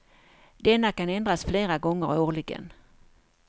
Denna kan ändras flera gånger årligen.